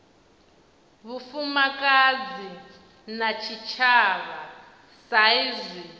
vhufumakadzi na tshitshavha sa izwi